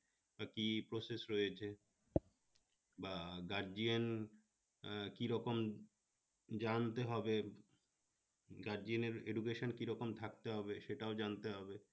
কি process রয়েছে বা guardian আহ কিরকম জানতে হবে guardian এর education কিরকম থাকতে হবে সেটাও জানতে হবে